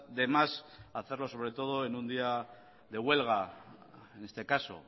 de más hacerlo sobre todo en un día de huelga en este caso